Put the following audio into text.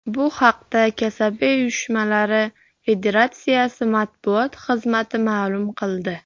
Bu haqda Kasaba uyushmalari Federatsiyasi matbuot xizmati ma’lum qildi .